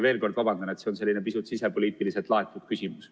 Veel kord vabandan, et see on selline pisut sisepoliitiliselt laetud küsimus.